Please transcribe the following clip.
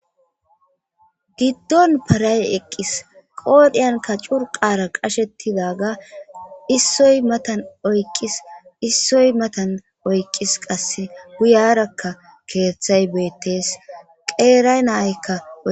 giddon paray eqqis qoodhiyanka curqara qashettidaga issoy matan oyqis issoy matan oyqqis qasse guyarakka keeththay beettes qeeray nayykka